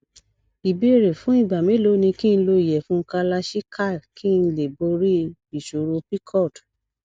ìbéèrè fún ìgbà mélòó ni ki n lo iyefun kalachikai kí n lè borí ìṣòro pcod